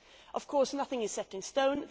Of course, nothing is set in stone.